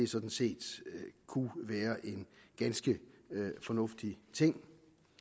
sådan set kunne være en ganske fornuftig ting